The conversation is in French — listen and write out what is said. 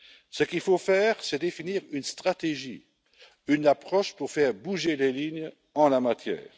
Ce qu'il faut faire, c'est définir une stratégie, une approche pour faire bouger les lignes en la matière.